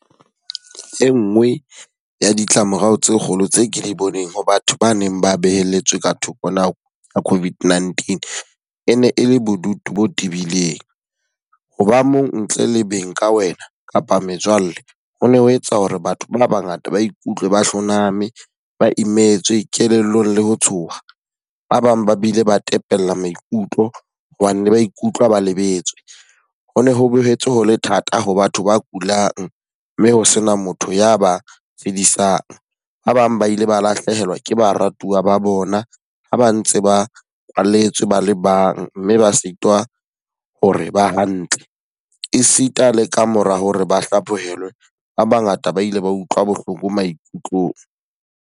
E nngwe ya ditlamorao tse kgolo tse ke di boneng ho batho ba neng ba beheletse ka thoko nako ya COVID-19, e ne e le bodutu bo tibileng. Ho ba mong ntle le beng ka wena kapa metswalle. Ho ne ho etsa hore batho ba ba ngata ba ikutlwe ba hloname, ba I'm etswe, kelellong le ho tshoha. Ba bang ba bile ba tepella maikutlo hobane ba ikutlwa ba lebetswe. Ho ne ho boetse ho le thata ho batho ba kulang, mme ho sena motho ya ba fedisang. Ba bang ba ile ba lahlehelwa ke baratuwa ba bona ha ba ntse ba kwalletswe ba le bang mme ba sitwa ho re ba hantle. E sita le ka mora hore ba hlaphohelwe, ba ba ngata ba ile ba utlwa bohloko maikutlong.